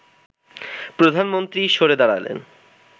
প্রধানমন্ত্রী সরে দাঁড়ালে